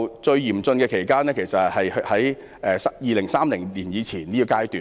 最嚴峻的期間是2030年之前的階段。